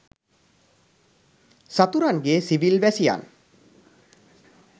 සතුරන්ගේ civil වැසියන්